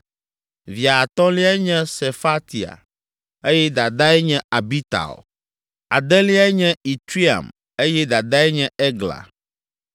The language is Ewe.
Via atɔ̃liae nye Sefatia eye dadae nye Abital Adeliae nye Itream eye dadae nye Egla.